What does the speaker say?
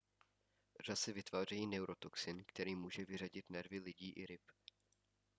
řasy vytvářejí neurotoxin který může vyřadit nervy lidí i ryb